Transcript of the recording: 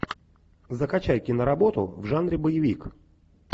закачай киноработу в жанре боевик